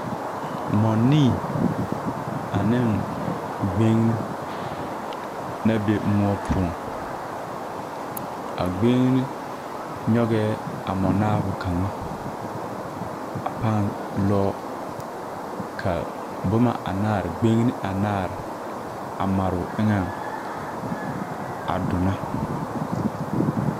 Mͻnii ane gbeŋini la be mõͻ. A gbeŋini nyͻgԑԑ a mͻnaabo kaŋa a paa lͻͻ ka boma anaare, gbeŋine anaare a mare o eŋԑŋ a donͻ.